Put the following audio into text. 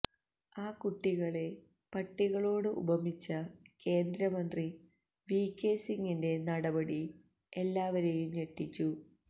ആ കുട്ടികളെ പട്ടികളോട് ഉപമിച്ച കേന്ദ്രമന്ത്രി വി കെ സിംഗിന്റെ നടപടി എല്ലാവരെയും ഞെട്ടിച്ചു